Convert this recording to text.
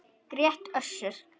grét Össur.